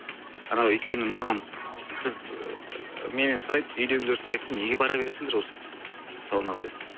анау өйткені маған біз ыыы менен сұрайды үйдегілер сұрайды неге бара бересіңдер осы саунаға деп